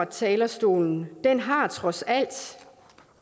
talerstolen har trods alt